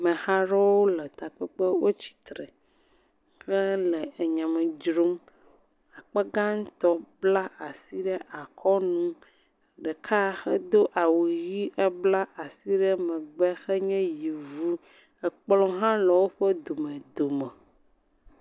Ameha aɖewo le takpekpe, wotsi tre hele nya me dzrom, akpa gãtɔ bla asi ɖe akɔnu, ɖeka do awu ʋi bla asi ɖe megbe; enye yevu. Kplɔ̃ hã le woƒe dome dome.s